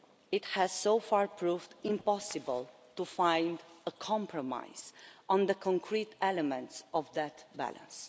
it has so far proved impossible to find a compromise on the concrete elements of that balance.